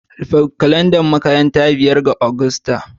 Rufe kalandar makaranta a ranar biyar ga Agusta!